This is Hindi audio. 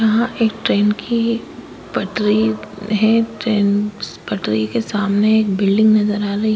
यहां एक ट्रेन की पटरी है ट्रेन पटरी के सामने एक बिल्डिंग नजर आ रही--